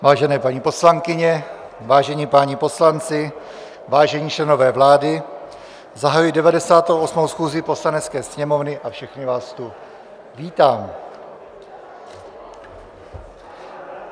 Vážené paní poslankyně, vážení páni poslanci, vážení členové vlády, zahajuji 98. schůzi Poslanecké sněmovny a všechny vás tu vítám.